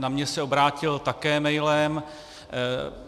Na mě se obrátil také mailem.